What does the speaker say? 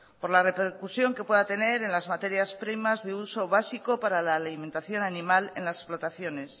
por la repercusión que pueda tener en las materias primas de uso básico para la alimentación animal en las explotaciones